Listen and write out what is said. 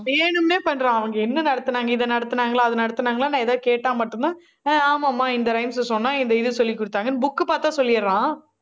வேணும்னே பண்றான். அவங்க என்ன நடத்துனாங்க? இதை நடத்துனாங்களா? அதை நடத்துனாங்களா? நான் எதாவது கேட்டா மட்டும்தான் ஆஹ் ஆமாம்மா, இந்த rhymes அ சொன்னா, இந்த இதை சொல்லி குடுத்தாங்கன்னு, book பார்த்தா சொல்லிடுறான்